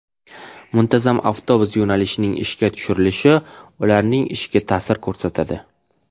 Muntazam avtobus yo‘nalishining ishga tushirilishi ularning ishiga ta’sir ko‘rsatadi.